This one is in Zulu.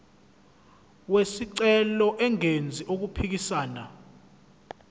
wesicelo engenzi okuphikisana